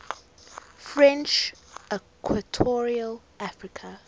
french equatorial africa